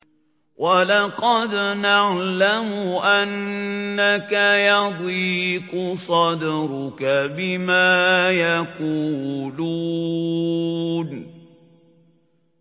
وَلَقَدْ نَعْلَمُ أَنَّكَ يَضِيقُ صَدْرُكَ بِمَا يَقُولُونَ